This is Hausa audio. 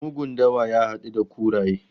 Mugun dawa ya hadu da kuraye